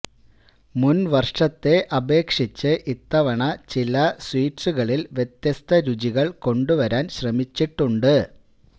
മുന് വര്ഷത്തെ അപേക്ഷിച്ച് ഇത്തവണ ചില സ്വീറ്റ്സുകളില് വ്യത്യസ്ത രുചികള് കൊണ്ടുവരാന് ശ്രമിച്ചിട്ടുണ്ട്